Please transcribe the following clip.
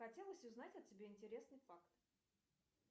хотелось узнать о тебе интересный факт